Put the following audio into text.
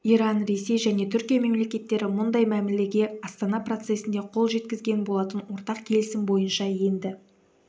иран ресей және түркия мемлекеттері мұндай мәмілеге астана процесінде қол жеткізген болатын ортақ келісім бойынша енді